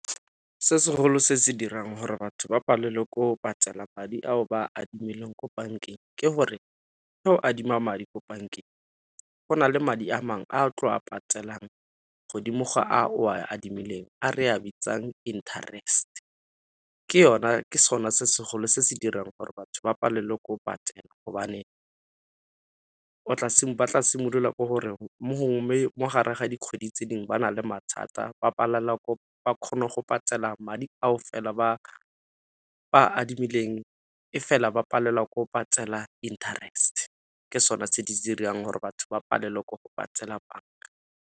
Se segolo se se dirang gore batho ba palelwe ke go patela madi ao ba a adimileng ko bankeng ke gore, ga o adima madi ko bankeng go na le madi a mangwe a tlo a patelang godimo ga a o a adimileng a re a bitsang interest ke sone se segolo se se dirang gore batho ba palelwe ke go patela gobane ba tla simolola ko gore mo gongwe mogare ga dikgwedi tse dingwe ba na le mathata ba palelwa ba kgone go patela madi ao fela ba adimileng e fela ba palelwa ke go patela interest. Ke sone se di dirang gore batho ba palelwe ke go patela .